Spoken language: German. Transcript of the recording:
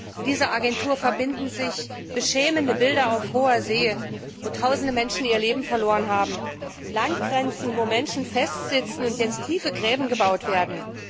Mit dieser Agentur verbinden sich beschämende Bilder auf hoher See, wo Tausende Menschen ihr Leben verloren haben, von Landgrenzen, wo Menschen festsitzen und jetzt tiefe Gräben gebaut werden.